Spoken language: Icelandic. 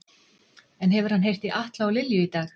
En hefur hann heyrt í Atla og Lilju í dag?